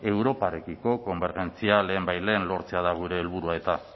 europarekiko konbergentzia lehenbailehen lortzea da gure helburua eta